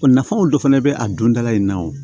nafaw dɔ fana bɛ a don da la nin na o